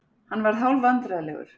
Hann varð hálfvandræðalegur.